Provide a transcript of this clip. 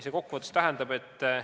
Kokku võttes see tähendab järgmist.